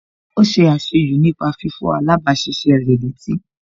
Ó ṣe àṣejù nípa fífọ̀ alábàáṣiṣé rẹ̀ létí